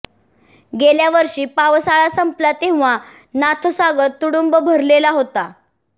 गेल्या वर्षी पावसाळा संपला तेव्हा नाथसागर तुडुंब भरलेला होता